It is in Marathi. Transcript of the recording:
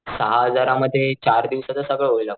सहा हजार मध्ये चार दिवसाच सगळ होईल आपल.